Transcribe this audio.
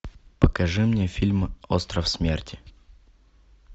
покажи мне фильм остров смерти